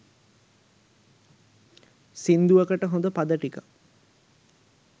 සිංදුවකට හොඳ පද ටිකක්